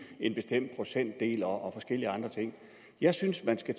en bestemt procentdel og forskellige andre ting jeg synes man skal